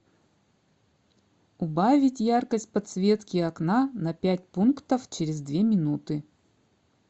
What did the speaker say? убавить яркость подсветки окна на пять пунктов через две минуты